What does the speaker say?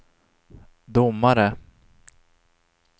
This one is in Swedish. domare